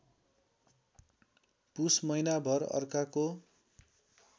पुस महिनाभर अर्काको